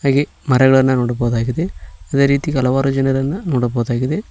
ಈ ಮರಗಗಳನ್ನ ನೋಡಬಹುದಾಗಿದೆ ಅದೇ ರೀತಿ ಹಲವಾರು ಜನರನ್ನ ನೋಡಬಹುದಾಗಿದೆ.